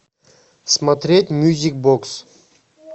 смотреть мьюзик бокс